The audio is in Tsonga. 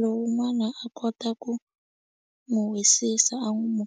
lowun'wana a kota ku n'wu wisisa a n'wu .